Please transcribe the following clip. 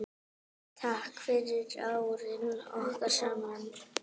Takk fyrir árin okkar saman.